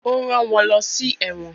ó rán wọ́n lọsí “ ẹ̀wọ̀n”.